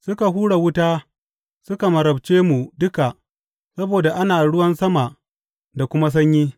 Suka hura wuta suka marabce mu duka saboda ana ruwan sama da kuma sanyi.